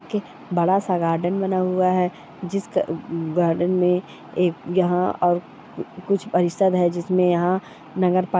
-- क् बड़ा सा गार्डन बना हुआ है जिसका गार्डन में एक यहाँ और कुछ परिषद् है जिसमे यहाँ नगर प--